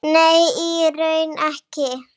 Nei, í raun ekki.